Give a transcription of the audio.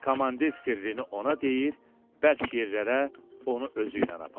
Komandir sirrini ona deyir, bərk yerlərə onu özü ilə aparır.